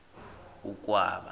ukwaba